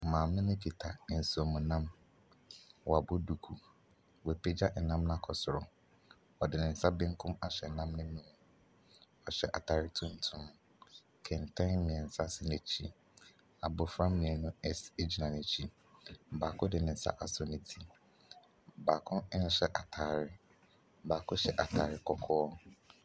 Maame no kita nsuom nam. Wɔabɔ duku. Wɔaopagya ɛnam no akɔ soro. Ɔde ne nsa benkum ahyɛ nam n'ani no mu. Ɔhyɛ ataare tuntum. Kɛntɛn mmiɛnsa si n'akyi. Abofra esi egyina n'akyi. Baako de nsa asɔ ne ti. Baako nhyɛ ataare. Baako hyɛ ataare kɔkɔɔ.